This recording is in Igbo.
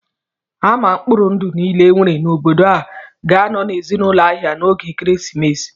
Ama mkpori ndụ niile e nwere n'obodo a ga-anọ n'ezigbo ahịa n'oge ekeresimesi a